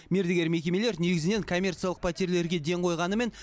мердігер мекемелер негізінен коммерциялық пәтерлерге ден қойғанымен